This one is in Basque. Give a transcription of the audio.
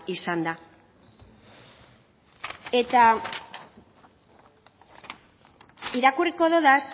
izan da eta irakurriko dodaz